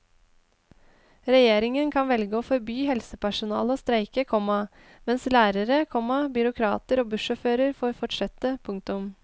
Regjeringen kan velge å forby helsepersonale å streike, komma mens lærere, komma byråkrater og bussjåfører får fortsette. punktum